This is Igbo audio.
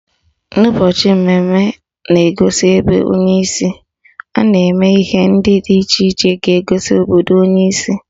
N'ụbọchị mmemme na-egosi ebe onye si, a na-eme ihe dị iche iche ga-egosi obodo onye si